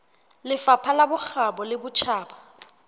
lefapha la bokgabo le botjhaba